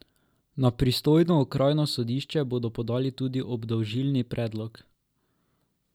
Na pristojno okrajno sodišče bodo podali tudi obdolžilni predlog.